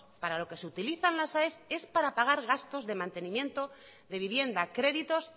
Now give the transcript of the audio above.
para lo que se utilizan las aes es para pagar gastos de mantenimiento de vivienda créditos